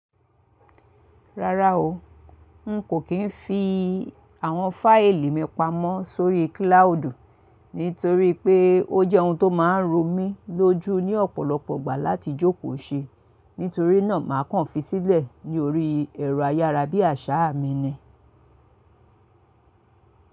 Rárá o, n kò kín fi àwọn fáìlì mi pamọ́ sórí kílàúdì nítorí pé ó jẹ́ ohun tó máa ń ro mi lójú ní ọ̀pọ̀lọpọ̀ ìgbà láti jókòó ṣe. Nítorínà màá kàn fi sílẹ̀ ní orí ẹ̀rọ ayárabíàṣá mi ni.